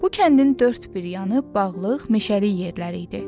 Bu kəndin dörd bir yanı bağlıq, meşəlik yerləri idi.